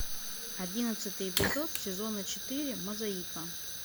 одиннадцатый эпизод сезона четыре мозаика